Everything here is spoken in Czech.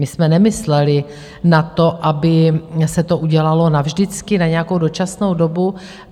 My jsme nemysleli na to, aby se to udělalo navždycky - na nějakou dočasnou dobu.